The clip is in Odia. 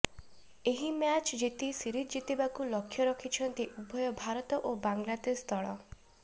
ଏହି ମ୍ୟାଚ୍ ଜିତି ସିରିଜ୍ ଜିତିବାକୁ ଲକ୍ଷ୍ୟ ରଖିଛନ୍ତି ଉଭୟ ଭାରତ ଓ ବାଂଲାଦେଶ ଦଳ